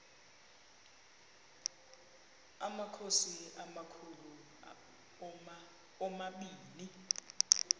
amakhosi amakhulu omabini